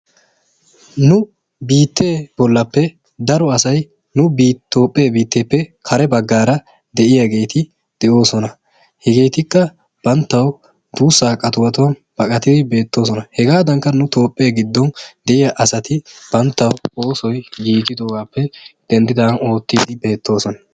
Nu biittee bollappe daro asay nu Toophphee biittappe kare bagaara de'iyaa asay de'oosona, hegeetikka; banttawu duussaa qatiwatuwawu baqatidi beettoosona. Hegaadankka nu Toophee giddon de'iyaa asati banttawu oosoy giigidoogaappe denddidaagan oottiiddi beettoosona.